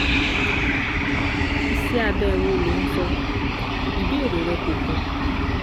Iṣẹ́ abẹ wo lo ń sọ? Ìbéèrè rẹ kò kún